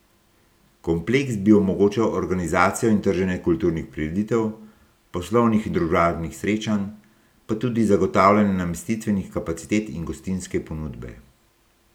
Kompleks bi omogočal organizacijo in trženje kulturnih prireditev, poslovnih in družabnih srečanj, pa tudi zagotavljanje namestitvenih kapacitet in gostinske ponudbe.